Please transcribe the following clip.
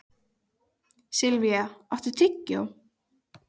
Silvía, áttu tyggjó?